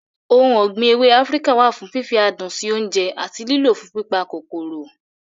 Ohun ọ̀gbìn ewé Áfíríkà wà fún fífi adùn sí oúnjẹ àti lílọ̀ fún pípa kòkòrò.